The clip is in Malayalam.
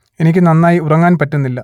എനിക്ക് നന്നായി ഉറങ്ങാൻ പറ്റുന്നില്ല